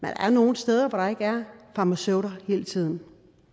er nogle steder hvor der ikke er farmaceuter hele tiden